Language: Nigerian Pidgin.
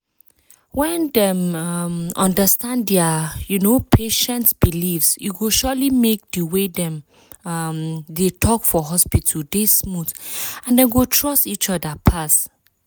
when dem um understand dia um patient beliefs e go surely make di way dem um dey talk for hospital dey smooth and dem go trust eachother pass.